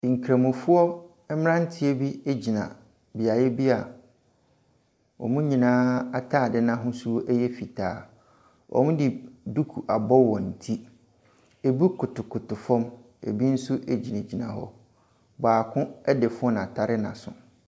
Nkramofoɔ mmeranteɛ bi gyina beaeɛ bi a wɔn nyinaa atadeɛ no ahosuo yɛ fitaa. Wɔde duku abɔ wɔn ti. Ɛbi kotokoto fam, ɛbi nso gyingyina hɔ. Baako de phone atare n'aso.